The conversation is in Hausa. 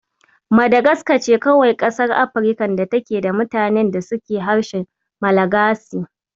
Madagaska ce kawai ƙasar Afrikan da take da mutanen da suke harshen Malagasi.